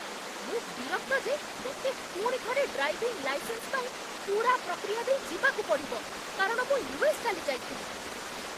ମୁଁ ବିରକ୍ତ ଯେ ମୋତେ ପୁଣିଥରେ ଡ୍ରାଇଭିଂ ଲାଇସେନ୍ସ ପାଇଁ ପୂରା ପ୍ରକ୍ରିୟା ଦେଇ ଯିବାକୁ ପଡ଼ିବ କାରଣ ମୁଁ ୟୁ.ଏସ୍. ଚାଲିଯାଇଥିଲି।